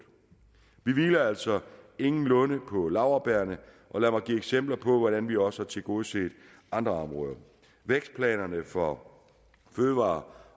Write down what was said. vi hviler altså ingenlunde på laurbærrene og lad mig give eksempler på hvordan vi også har tilgodeset andre områder vækstplanerne for fødevarer